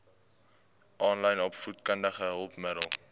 aanlyn opvoedkundige hulpmiddele